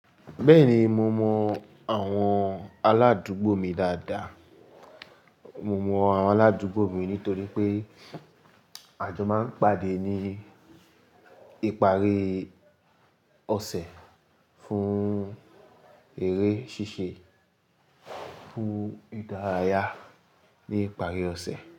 Bẹ́ẹ̀ni, mo mọ àwọn aládùúgbò mi dáadáa. Mo mọ àwọn aládùúgbò mi nítorí pé àjọ máa ń pàdé ní ìparí ọ̀sẹ̀ fún eré ṣíṣe, fún ìdárayá ní ìparí ọ̀sẹ̀.